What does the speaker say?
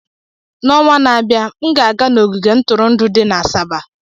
N'ọnwa na-abịa, m ga-aga n'ogige ntụrụndụ dị na Asaba.